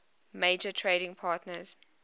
major trading partners